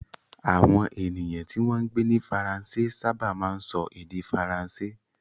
Àwọn ènìyàn tí wọ́n ń gbé ní Faransé sábà máa ń sọ èdè Faransé.